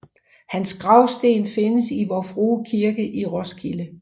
Hans gravsten findes i Vor Frue Kirke i Roskilde